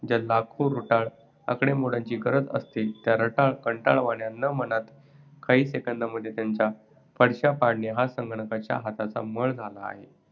ज्या लाखो रटाळ आकडेमोडींची गरज असते त्या रटाळ, कंटाळवाण्या न मानता काही second मध्ये त्यांचा फडशा पाडणे हा संगणकांच्या हातचा मळ झाला आहे!